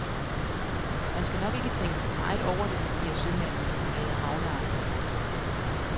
Man skal nok ikke tænke for meget over det, siger sømanden og forlader havnearealet.